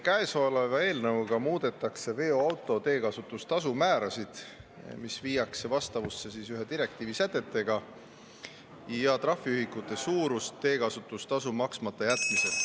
Käesoleva eelnõuga muudetakse veoauto teekasutustasu määrasid, mis viiakse vastavusse ühe direktiivi sätetega, ja trahviühikute suurust teekasutustasu maksmata jätmisel.